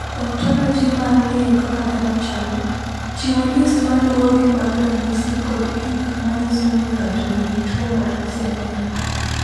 "Ontoloji mar ng’eyo kaka dhano chalo, chiwo list ma luwogi mag ranyisi kod gik ma nyiso ni ng’ato nigi tuwo mar Sener."